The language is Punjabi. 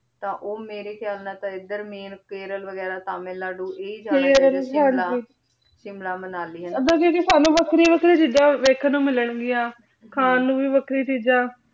ਤਾਂ ਊ ਮੇਰੀ ਖਯਾਲ ਨਾਲ ਏਡ੍ਰ ਮੈਂ ਕੇਰਲ ਵੇਗਿਰਾ ਤਮਿਲ ਨਾਡੁ ਆਯ ਸ਼ਿਮਲਾ ਮਨਾਲੀ ਓਧਰ ਦੀਦੀ ਸਾਨੂ ਵਖਰੀ ਆਖਰੀ ਚੀਜ਼ਾਂ ਦੇਖਣ ਨੂ ਮਿਲਣ ਗਿਯਾੰ ਖਾਂ ਨੂ ਵੀ ਵਖਰੀ ਚੀਜ਼ਾਂ